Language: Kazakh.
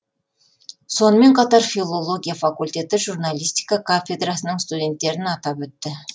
сонымен қатар филология факультеті журналистика кафедрасының студенттерін атап өтті